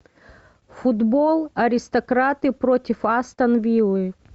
футбол аристократы против астон виллы